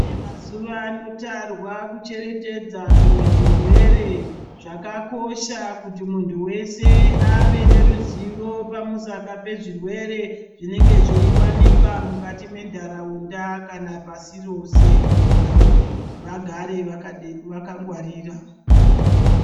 Chide mazuvano tarwa kucheretedza zvimwe zvirwere zvakakosha kuti muntu weshe ave neruzivo pamusaka pezvirwere zvinenge zveiwanika mukati mentaraunda kana pasi rose kuti vantu vagare vakangwarira.